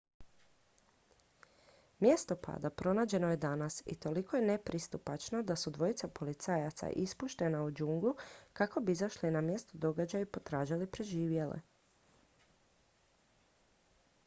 mjesto pada pronađeno je danas i toliko je nepristupačno da su dvojica policajaca ispuštena u džunglu kako bi izašli na mjesto događaja i potražili preživjele